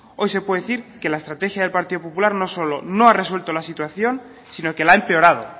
hoy se puede decir que la estrategia del partido popular no solo no ha resuelto la situación sino que la ha empeorado